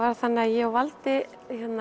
þannig að ég og valdi